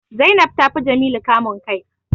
Zainab ta fi Jamilu kamun kai